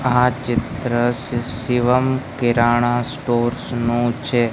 આ ચિત્ર શિ-શિવમ કીરાણા સ્ટોર્સ નું છે.